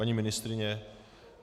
Paní ministryně?